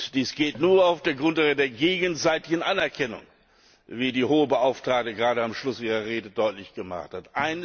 Dies geht nur auf der Grundlage der gegenseitigen Anerkennung, wie die Hohe Beauftragte gerade am Schluss ihrer Rede deutlich gemacht hat.